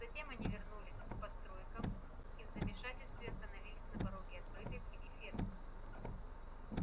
затем они вернулись к постройкам и в замешательстве остановились на пороге открытой двери ферм